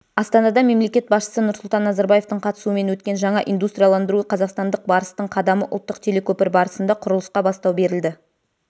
астанада мемлекет басшысынұрсұлтан назарбаевтың қатысуымен өткен жаңа индустрияландыру қазақстандық барыстыңқадамы ұлттық телекөпір барысында құрылысқа бастау берілді